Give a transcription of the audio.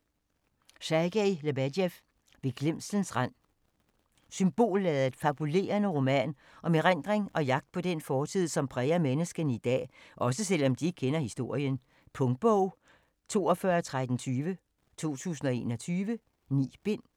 Lebedev, Sergej: Ved glemslens rand Symbolladet og fabulerende roman om erindring og jagt på den fortid, som præger menneskene i dag - også selv om de ikke kender historien. Punktbog 421320 2021. 9 bind.